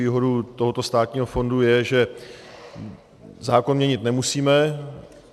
Výhodou tohoto státního fondu je, že zákon měnit nemusíme.